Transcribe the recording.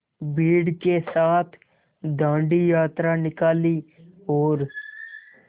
भीड़ के साथ डांडी यात्रा निकाली और